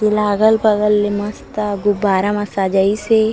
देला अगल-बगल ले मस्त गुब्बारा मा सजाइस हे।